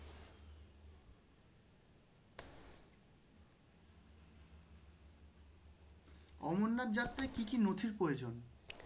অমরনাথ যাত্রায় কি কি নথির প্রয়োজন